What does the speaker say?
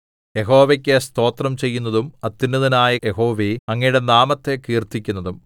യഹോവയ്ക്ക് സ്തോത്രം ചെയ്യുന്നതും അത്യുന്നതനായ യഹോവേ അങ്ങയുടെ നാമത്തെ കീർത്തിക്കുന്നതും